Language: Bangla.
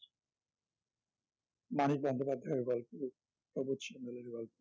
মানিক বন্দ্যোপাধ্যায়ের গল্প প্রবোধ সান্যালের গল্প